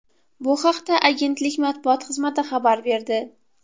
Bu haqda agentlik matbuot xizmati xabar berdi .